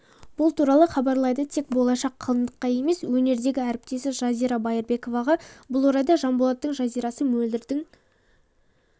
бұл туралы хабарлайды тек болашақ қалыңдыққа емес өнердегі әріптесі жазира байырбековаға бұл орайда жанболаттың жазирасы мөлдірдің